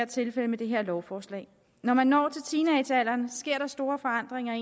tilfældet med det her lovforslag når man når teenagealderen sker der store forandringer